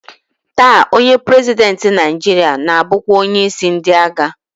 Taa, onye prezidentị Naịjiria na-abụkwa onyeisi ndị agha